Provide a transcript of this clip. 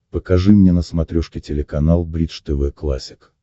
покажи мне на смотрешке телеканал бридж тв классик